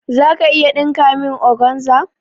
Za ka iya ɗinka min organza?